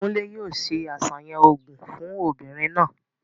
Kúnlè yóò se àsàyàn òògùn fún obìnrin náà.